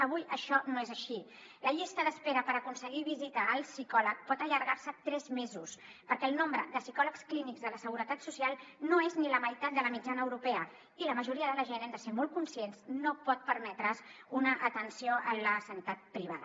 avui això no és així la llista d’espera per aconseguir visita al psicòleg pot allargar se tres mesos perquè el nombre de psicòlegs clínics de la seguretat social no és ni la meitat de la mitjana europea i la majoria de la gent n’hem de ser molt conscients no pot permetre’s una atenció a la sanitat privada